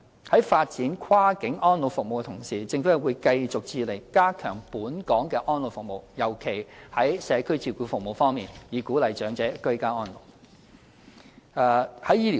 在發展跨境安老服務的同時，政府會繼續致力加強本港的安老服務，尤其在社區照顧服務方面，以鼓勵長者居家安老。